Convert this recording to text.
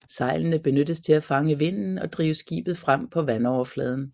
Sejlene benyttes til at fange vinden og drive skibet frem på vandoverfladen